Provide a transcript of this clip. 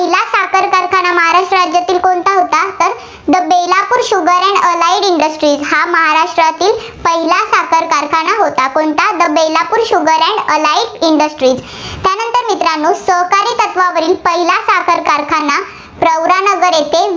industry हा महाराष्ट्रातील पहिला साखर कारखाना होता. कोणता the Belapur sugar and allied industry. त्यानंतर मित्रांनो सहकारी तत्त्वावरील पहिला साखर कारखाना प्रवरानगर येथे